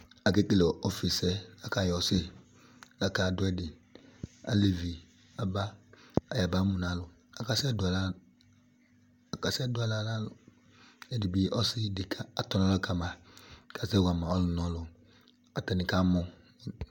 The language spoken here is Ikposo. aƙaɗʊ ɛɗɩ nʊ ɩsɩƒɩsɛ mɛ aleʋɩɗɩnɩɓɩ aɓa ƙamamʊnʊ alʊ asɩwanɩ aɓlamaɗʊ, ƙʊ aƙaɗʊ alʊni ahla nʊ ɛɗɩ